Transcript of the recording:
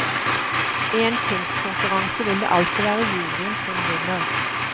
I en kunstkonkurranse vil det alltid være juryen som vinner.